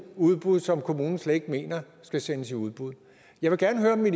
udbud som kommunen slet ikke mener skal sendes i udbud jeg vil gerne